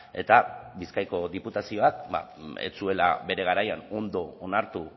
eta da bizkaiko diputazioak ez zuela bere garaian ondo onartu